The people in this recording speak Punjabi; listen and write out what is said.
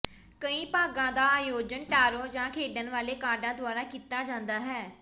ਕਈ ਭਾਗਾਂ ਦਾ ਆਯੋਜਨ ਟਾਰੋ ਜਾਂ ਖੇਡਣ ਵਾਲੇ ਕਾਰਡਾਂ ਦੁਆਰਾ ਕੀਤਾ ਜਾਂਦਾ ਹੈ